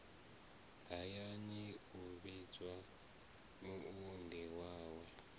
hayani u vhidza muunḓi wawe